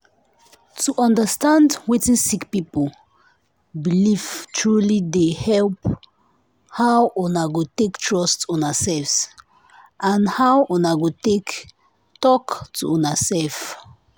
to understand wetin sick people belief truely dey help help how una go take trust una self and how una go take talk to una self.